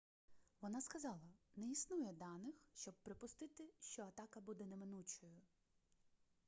вона сказала не існує даних щоб припустити що атака буде неминучою